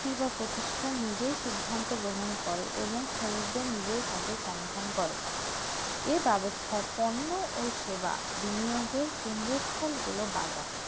সেবা প্রতিষ্ঠান নিজেই সিদ্ধান্ত গ্রহণ করে এবং শ্রমিকদের নিজেই কাজের সমাধান করে এই ব্যবস্থাপনা ও সেবা নিয়ন্ত্রণ কেন্দ্র স্থান হচ্ছে বাজার